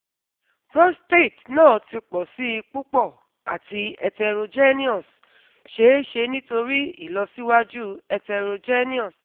Prostate naa ti pọ si pupọ ati heterogeneous, ṣee ṣe nitori ilọsiwaju heterogeneous